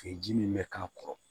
ji min bɛ k'a kɔrɔ